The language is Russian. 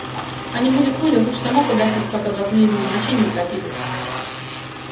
а не будет воли лучше самому погасить пока блатные его в моче не утопили